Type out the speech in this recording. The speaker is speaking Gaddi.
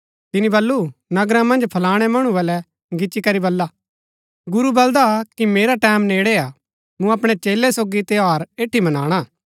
तिनी बल्लू नगरा मन्ज फलाणै मणु बलै गिच्ची करी बला गुरू बलदा कि मेरा टैमं नेड़ै हा मूँ अपणै चेलै सोगी त्यौहार ऐड़ी मनाणा